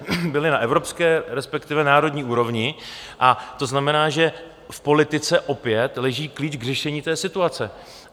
Byla na evropské, respektive národní úrovni, a to znamená, že v politice opět leží klíč k řešení té situace.